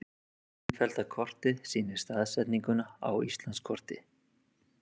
Innfellda kortið sýnir staðsetninguna á Íslandskorti.